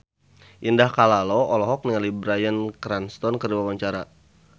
Indah Kalalo olohok ningali Bryan Cranston keur diwawancara